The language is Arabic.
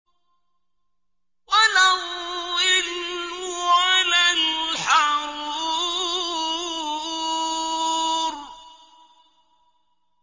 وَلَا الظِّلُّ وَلَا الْحَرُورُ